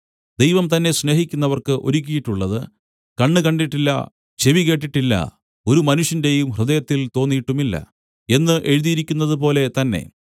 ദൈവം തന്നെ സ്നേഹിക്കുന്നവർക്ക് ഒരുക്കിയിട്ടുള്ളത് കണ്ണ് കണ്ടിട്ടില്ല ചെവി കേട്ടിട്ടില്ല ഒരു മനുഷ്യന്റെയും ഹൃദയത്തിൽ തോന്നിയിട്ടുമില്ല എന്ന് എഴുതിയിരിക്കുന്നതുപോലെ തന്നെ